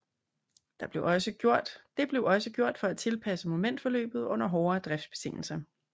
Det blev også gjort for at tilpasse momentforløbet under hårdere driftsbetingelser